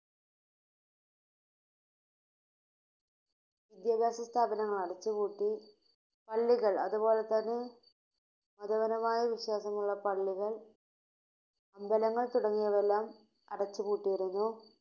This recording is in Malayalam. വിദ്യാഭ്യാസ സ്ഥാപനങ്ങൾ അടച്ചുപൂട്ടി, പള്ളികൾ അതുപോലെതന്നെ മതപരമായ വിശ്വാസമുള്ള പള്ളികൾ, അമ്പലങ്ങൾ തുടങ്ങിയവയെല്ലാം അടച്ചുപൂട്ടിയിരുന്നു,